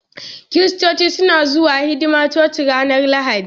Kiristoci suna zuwa hidimar coci ranar Lahadi.